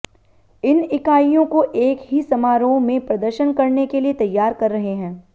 इन इकाइयों को एक ही समारोह में प्रदर्शन करने के लिए तैयार कर रहे हैं